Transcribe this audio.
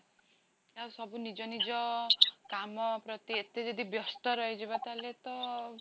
ଆଉ ସବୁ ନିଜ ନିଜ କାମ ପ୍ରତି ଏତେ ଜଦି ବ୍ୟସ୍ତ ରହିଜୀବ ତାହାଲେ ତ ଆଉ